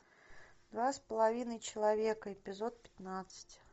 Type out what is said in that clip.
два с половиной человека эпизод пятнадцать